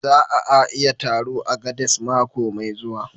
Za a a yi taron a Agades mako mai zuwa